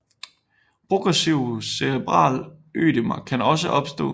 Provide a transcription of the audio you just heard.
Progressive cerebral ødemer kan også opstå